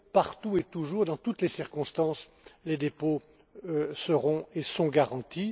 Partout et toujours, dans toutes les circonstances, les dépôts seront et sont garantis.